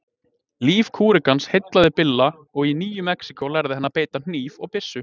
Líf kúrekans heillaði Billa og í Nýju-Mexíkó lærði hann að beita hníf og byssu.